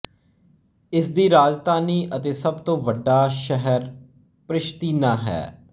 ਇਸਦੀ ਰਾਜਧਾਨੀ ਅਤੇ ਸਭ ਤੋਂ ਵੱਡਾ ਸ਼ਹਿਰ ਪ੍ਰਿਸ਼ਤੀਨਾ ਹੈ